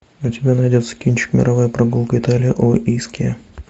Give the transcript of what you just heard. у тебя найдется кинчик мировая прогулка италия о искья